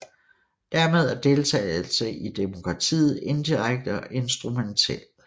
Dermed er deltagelse i demokratiet indirekte og instrumentel